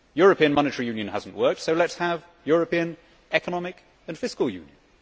European monetary union has not worked, so let us have European economic and fiscal union.